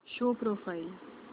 show profile